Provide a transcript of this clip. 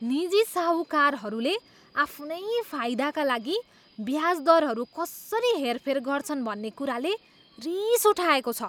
निजी साहूकारहरूले आफ्नै फाइदाका लागि ब्याज दरहरू कसरी हेरफेर गर्छन् भन्ने कुराले रिस उठाएको छ।